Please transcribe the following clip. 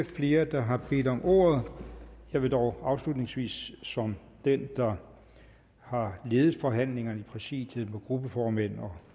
flere der har bedt om ordet jeg vil dog afslutningsvis som den der har ledet forhandlingerne i præsidiet med gruppeformænd og